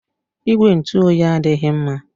Igwe ntụ oyi adịghị mma